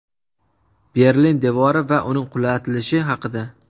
Berlin devori va uning qulatilishi haqida .